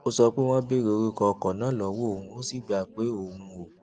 ó sọ pé wón béèrè orúkọ ọkò náà lówó òun ó sì gbà pé òun ò